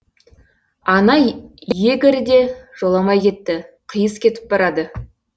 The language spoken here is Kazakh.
ана егерь де жоламай кетті қиыс кетіп барады